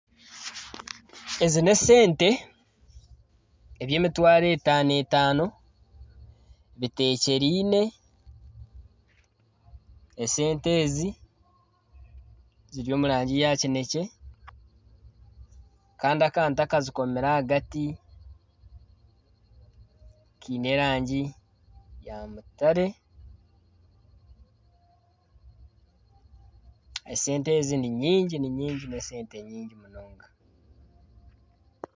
Ezi n'esente ebyemitwaro etaano etaano, bitekyereine, esente ezi ziri omurangi ya kinekye, kandi akantu akazikomire ahagati kaine erangi ya mutare esente ezi n'esente nyingi munonga.